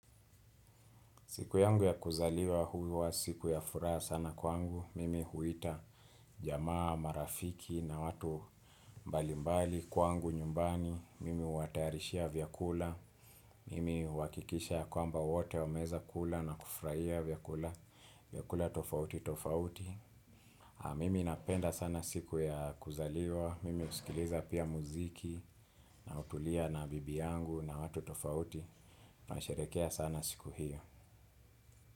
Siku yangu ya kuzaliwa huwa siku ya furaha sana kwangu. Mimi huita jamaa marafiki na watu mbalimbali kwangu nyumbani. Mimi huwatayarishia vyakula. Mimi huakikisha kwamba wote wameweza kula na kufurahia vyakula tofauti tofauti. Mimi napenda sana siku ya kuzaliwa. Mimi husikiliza pia muziki na hutulia na bibi yangu na watu tofauti. Nasherehekea sana siku hiyo.